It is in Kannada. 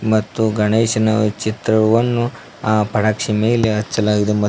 ಮತ್ತು ಗಣೇಶನ ಚಿತ್ರವನ್ನು ಆ ಪಡಾಕ್ಷಿ ಮೇಲೆ ಅಚ್ಚಲಾಗಿದೆ ಮ--